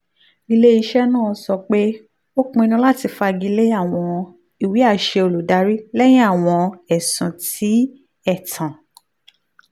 ile-iṣẹ naa sọ pe o pinnu lati fagile awọn iwe-aṣẹ olùdarí lẹhin awọn ẹsun ti ẹtan